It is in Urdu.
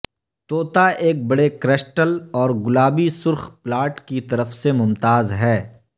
توتا ایک بڑے کرسٹل اور گلابی سرخ پلاٹ کی طرف سے ممتاز ہے